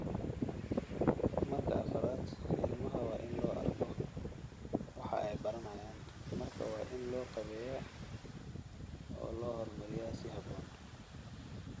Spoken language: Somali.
Marka afraad, ilmaha waa in loo arko waxa ay baranayaan, markaa waa in loo qaabeeyaa oo loo horumariyaa si habboon.